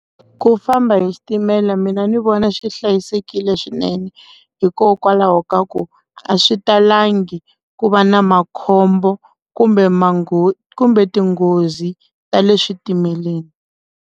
Ku famba hi xitimela mina ni vona swi hlayisekile swinene hikokwalaho ka ku a swi talangi ku va na makhombo kumbe maghoza kumbe tinghozi ta le switimeleni.